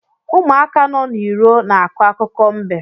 Ụmụaka nọ n’iro na-akọ akụkọ mbe